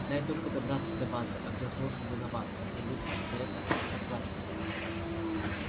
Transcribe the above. дай только добраться до базы огрызнулся донован кто-нибудь за это поплатится